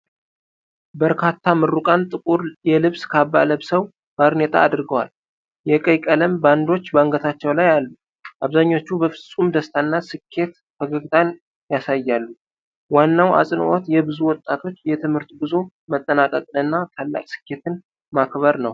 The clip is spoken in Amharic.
በርካታ ምሩቃን ጥቁር የልብስ ካባ ለብሰው ባርኔጣ አድርገዋል። የቀይ ቀለም ባንዶች በአንገታቸው ላይ አሉ። አብዛኞቹ በፍጹም ደስታና ስኬት ፈገግታ ያሳያሉ። ዋናው አጽንዖት የብዙ ወጣቶች የትምህርት ጉዞ መጠናቀቅንና ታላቅ ስኬትን ማክበር ነው።